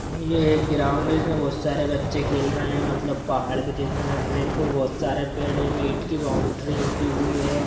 यह एक ग्राउड़ है बहुत सारे बच्चे खेल रहे है मतलब पहाड़ भी दिख रहे है पर बहुत सरे पेड़ ईंट की बॉउंड्री उठी है।